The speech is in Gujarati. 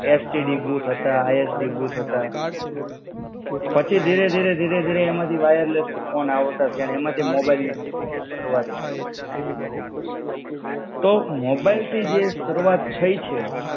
STD બૂથ હતા ISD બૂથ હતા પછી ધીરે ધીરે ધીરે, વાયરલેસ ફોન આવતા થયા ને એમાંથી મોબાઈલની શરૂઆત થઇ. તો મોબાઈલ થી જે શરૂઆત થઇ છે,